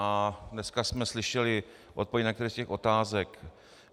A dneska jsme slyšeli odpovědi na některé z těch otázek.